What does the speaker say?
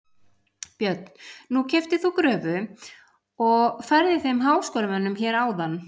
Björn: Nú keyptir þú gröfu og færðir þeim háskólamönnum hér áðan?